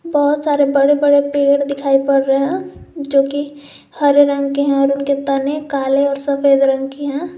बहुत सारे बड़े बड़े पेड़ दिखाई पड़ रहे हैं जो कि हरे रंग के हैं और उनके तने काले और सफेद रंग की हैं।